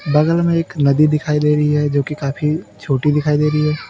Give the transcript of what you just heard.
बगल में एक नदी दिखाई दे रही है जो की काफी छोटी दिखाई दे रही है।